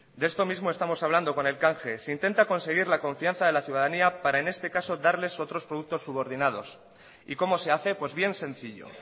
de esto mismo estamos hablando con el canje se intenta conseguir la confianza de la ciudadanía para en este caso darles otros productos subordinados y cómo se hace pues bien sencillo